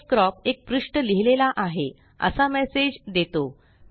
pdfcrop एक पृष्ठ लिहिलेला आहे असा मेसेज देतो